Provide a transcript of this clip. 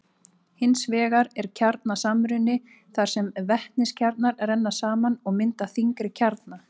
Hins vegar er kjarnasamruni þar sem vetniskjarnar renna saman og mynda þyngri kjarna.